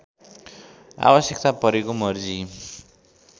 आवश्यकता परेको मर्जी